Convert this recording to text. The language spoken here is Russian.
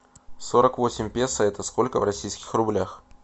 сорок восемь песо это сколько в российских рублях